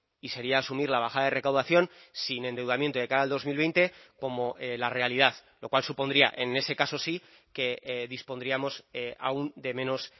y sería asumir la bajada de recaudación sin endeudamiento de cara al dos mil veinte como la realidad lo cual supondría en ese caso sí que dispondríamos aun de menos